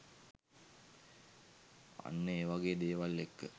අන්න ඒවගේ දේවල් එක්ක